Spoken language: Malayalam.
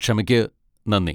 ക്ഷമയ്ക്ക് നന്ദി.